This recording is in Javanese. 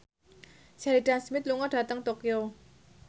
Sheridan Smith lunga dhateng Tokyo